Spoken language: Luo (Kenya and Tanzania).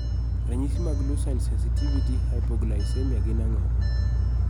ranyisi mag Leucine sensitive hypoglycemia gin ang'o?